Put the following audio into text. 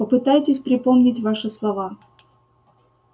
попытайтесь припомнить ваши слова